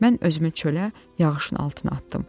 Mən özümü çölə, yağışın altına atdım.